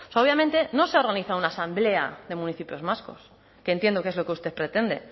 o sea obviamente no se ha organizado una asamblea de municipios vascos que entiendo que es lo que usted pretende